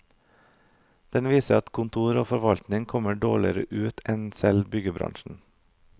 Den viser at kontor og forvaltning kommer dårligere ut enn selv byggebransjen.